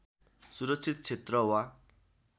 सुरक्षित क्षेत्र वा